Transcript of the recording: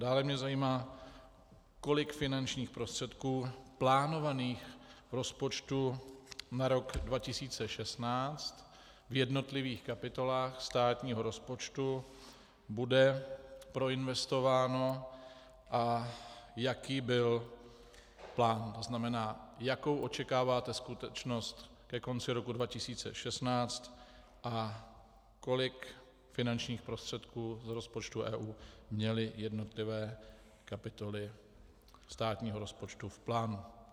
Dále mě zajímá, kolik finančních prostředků plánovaných v rozpočtu na rok 2016 v jednotlivých kapitolách státního rozpočtu bude proinvestováno a jaký byl plán, to znamená, jakou očekáváte skutečnost ke konci roku 2016 a kolik finančních prostředků do rozpočtu EU měly jednotlivé kapitoly státního rozpočtu v plánu.